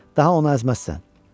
Daha onu əzməzsən.